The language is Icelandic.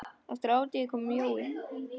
Eftir hádegi kom Jói.